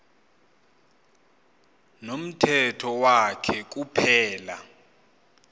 nomthetho wakhe kuphela